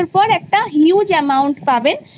পনের বছর পর একটা huge amount পাবে